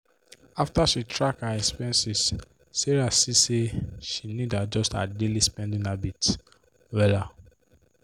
after she track her expenses sarah see say she need adjust her daily spending habits wella.